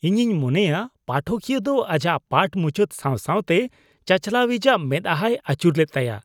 ᱤᱧᱤᱧ ᱢᱚᱱᱮᱭᱟ ᱯᱟᱴᱷᱚᱠᱤᱭᱟᱹ ᱫᱚ ᱟᱡᱟᱜ ᱯᱟᱴᱷ ᱢᱩᱪᱟᱹᱫ ᱥᱟᱶ ᱥᱟᱶᱛᱮ ᱪᱟᱪᱟᱞᱟᱣᱤᱡᱟᱜ ᱢᱮᱫᱦᱟᱭ ᱟᱹᱪᱩᱨ ᱞᱮᱫ ᱛᱟᱭᱟ ᱾